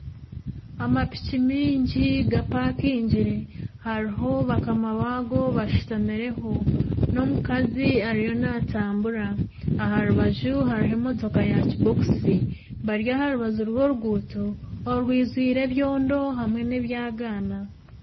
Amapiki mingi gapakaingire, hariho bakama baago bashutamireho, n'omukazi ariyo naatambura, aha rubaju hariho emotoka ya kibokisi bari aha rubaju rw'oruguuto orwijwire ebyondo hamwe n'ebyagaana